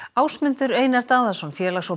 Ásmundur Einar Daðason félags og